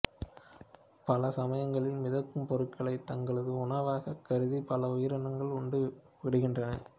பல சமயங்களில் மிதக்கும் பொருட்களை தங்களது உணவாகக் கருதி பல உயிரினங்கள் உண்டு விடுகின்றன